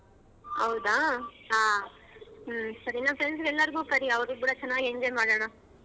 ಹೌದಾ ಹ್ಮ ಸರಿ ನಮ್ friends ಎಲ್ಲಾರಗೂ ಕರಿ ಅವರಿದ್ರೆ ಸರಿಯಾಗಿ enjoy ಮಾಡೋಣ.